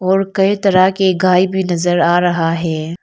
और कई तरह के गाय भी नजर आ रहा है।